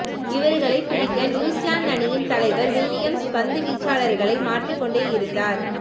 இவர்களை பிரிக்க நியூசிலாந்து அணியின் தலைவர் வில்லியம்ஸ் பந்து வீச்சாளர்களை மாற்றிக் கொண்டே இருந்தார்